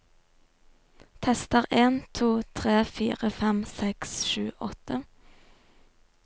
Tester en to tre fire fem seks sju åtte